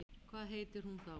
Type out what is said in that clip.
Hvað heitir hún þá?